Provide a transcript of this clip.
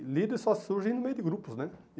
E líder só surge no meio de grupos, né?